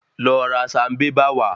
Lọ ra sanbébà wá.